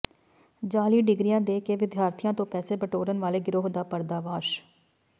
ਜਾਅਲੀ ਡਿਗਰੀਆਂ ਦੇ ਕੇ ਵਿਦਿਆਰਥੀਆਂ ਤੋਂ ਪੈਸੇ ਬਟੋਰਨ ਵਾਲੇ ਗਿਰੋਹ ਦਾ ਪਰਦਾਫਾਸ਼